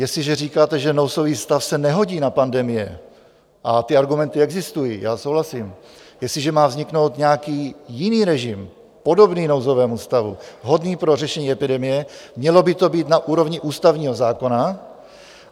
Jestliže říkáte, že nouzový stav se nehodí na pandemie, a ty argumenty existují, já souhlasím, jestliže má vzniknout nějaký jiný režim, podobný nouzovému stavu, vhodný pro řešení epidemie, mělo by to být na úrovni ústavního zákona.